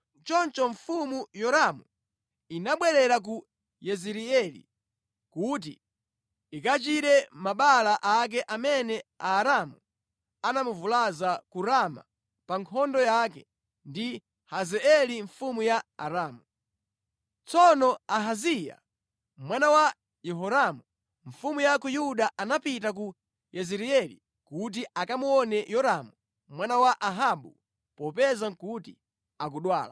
Choncho mfumu Yoramu inabwerera ku Yezireeli kuti ikachire mabala ake amene Aaramu anamuvulaza ku Rama pa nkhondo yake ndi Hazaeli mfumu ya Aramu. Tsono Ahaziya mwana wa Yehoramu mfumu ya ku Yuda anapita ku Yezireeli kuti akamuone Yoramu mwana wa Ahabu, popeza nʼkuti akudwala.